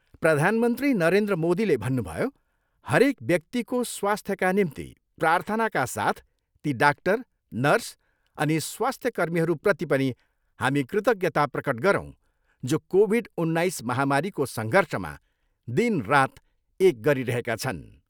प्रधानमन्त्री नरेन्द्र मोदीले भन्नुभयो, हरेक व्यक्तिको स्वास्थ्यका निम्ति प्राथर्नाका साथ ती डाक्टर, नर्स अनि स्वास्थ्य कर्मीहरूप्रति पनि हामी कृतज्ञता प्रकट गरौँ जो कोभिड उन्नाइस महामारीको सङ्घर्षमा दिन रात एक गरिरहेका छन्।